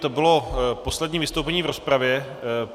To bylo poslední vystoupení v rozpravě.